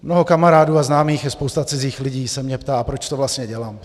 Mnoho kamarádů a známých i spousta cizích lidí se mě ptá, proč to vlastně dělám.